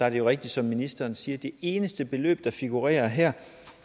er jo rigtigt som ministeren siger at det eneste beløb der figurerer her